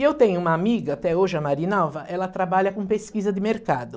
E eu tenho uma amiga, até hoje é a Marinalva, ela trabalha com pesquisa de mercado.